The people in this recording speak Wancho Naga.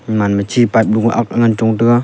eman ma chi pan pu ang ngan chong taiga.